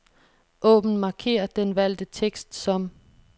Åbn markér den valgte tekst som.